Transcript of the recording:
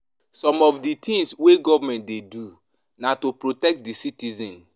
Some of di tins wey government dey do na to protect di citizens.